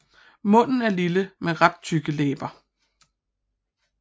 Munden er lille med ret tykke læber